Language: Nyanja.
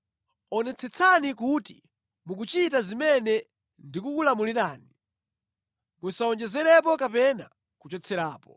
Onetsetsani kuti mukuchita zimene ndikukulamulirani. Musawonjezerepo kapena kuchotserapo.